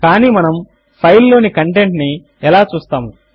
కానీ మనము file file లోని కంటెంట్ ను ఎలా చూస్తాము